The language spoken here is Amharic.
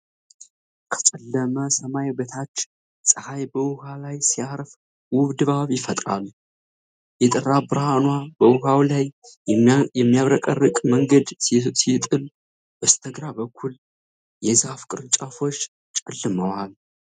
ከጨለመ ሰማይ በታች፣ ፀሐይ በውኃው ላይ ሲያርፍ ውብ ድባብ ይፈጥራል። የጠራ ብርሃኗ በውኃው ላይ የሚያብረቀርቅ መንገድ ሲጥል፣ በስተግራ በኩል የዛፍ ቅርንጫፎች ጨልመዋል።